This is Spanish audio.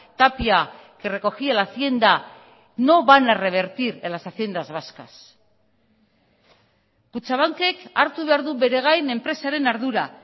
tapia que recogía la hacienda no van a revertir en las haciendas vascas kutxabankek hartu behar du bere gain enpresaren ardura